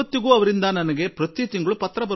ಇಂದು ನಾನು ಇದನ್ನು ಬಹಳ ಸಂತೋಷದಿಂದ ಹೇಳಬಯಸುವೆ